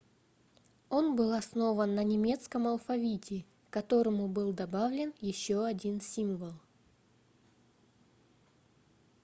он был основан на немецком алфавите к которому был добавлен еще один символ: õ/õ